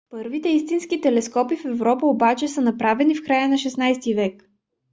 първите истински телескопи в европа обаче са направени в края на 16-ти век